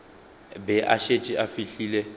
be a šetše a fihlile